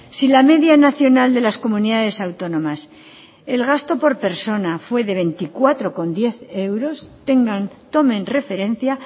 si la media nacional de las comunidades autónomas el gasto por persona fue de veinticuatro coma diez euros tengan tomen referencia